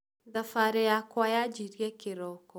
Thabarĩ yakwa yanjirĩe kĩroko